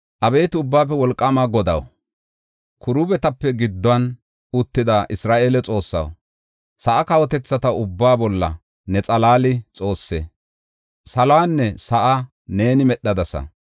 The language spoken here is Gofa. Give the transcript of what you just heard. “Abeeti Ubbaafe Wolqaama Godaw, kiruubetape gidduwan uttida Isra7eele Xoossaw, sa7a kawotethata ubbaa bolla ne xalaali Xoosse. Saluwanne sa7aa neeni medhadasa.